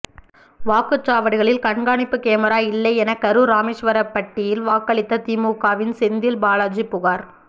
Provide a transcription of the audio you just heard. வாக்குச் சாவடிகளில் கண்காணிப்பு கேமரா இல்லை என கரூர் ராமேஸ்வரப்பட்டியில் வாக்களித்த திமுகவின் செந்தில் பாலாஜி புகார்